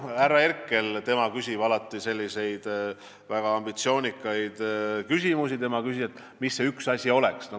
Härra Herkel, kes küsib alati väga ambitsioonikaid küsimusi, küsis, et mis see üks asi oleks.